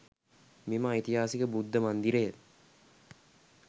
මෙම ඓතිහාසික බුද්ධ මන්දිරය